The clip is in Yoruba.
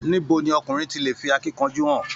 Níbo ní ọkùnrin tí lè fí akínkanjú hàn?